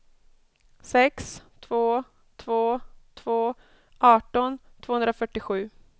sex två två två arton tvåhundrafyrtiosju